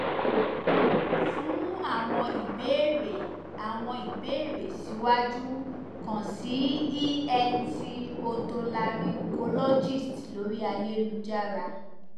fun awọn ibeere awọn ibeere siwaju kan si ent otolaryngologist lori ayelujara